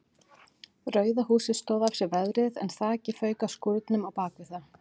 Rauða húsið stóð af sér veðrið en þakið fauk af skúrnum á bakvið það.